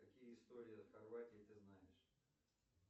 какие истории хорватии ты знаешь